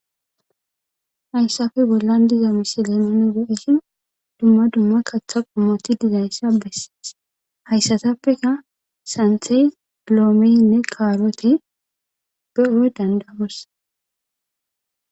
hayssafe bollan diza misile mane geesin dumma dumma katha qommoti dizayssa bessees hayssatappeka santhey dloomenne kaarote behoe dandagos